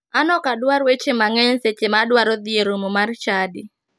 An ok adwar weche mang'eny seche ma adwaro dhi e romo mar chadi.